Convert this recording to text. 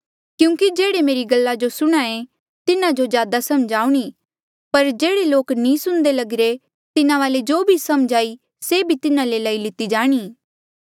क्यूंकि जेह्ड़े मेरी गल्ला जो सुणे तिन्हा जो ज्यादा समझ आऊणीं पर जेह्ड़े लोक नी सुणदे लगिरे तिन्हा वाले जो भी समझ हाई से तिन्हा ले लई लिती जाणी